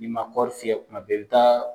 Ni ma kɔri fiyɛ kuma bɛɛ, i bi taa